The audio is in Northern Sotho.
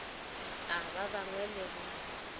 a ba bangwe le go